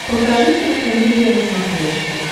покажи кинокомедия на смотрешке